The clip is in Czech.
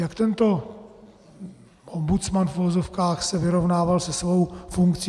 Jak tento ombudsman v uvozovkách se vyrovnával se svou funkcí?